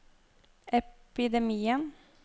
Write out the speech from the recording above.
epidemien